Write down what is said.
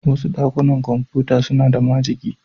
Wasu dakunan kwamfuta suna da majigi.